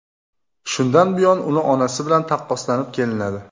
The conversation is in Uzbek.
Shundan buyon uni onasi bilan taqqoslanib kelinadi.